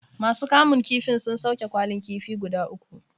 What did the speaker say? Ma su kamun kifin sun sauke kwalin kifi guda uku